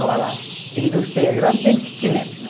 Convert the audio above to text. Agora, indústria é grande, tem kitnet, né?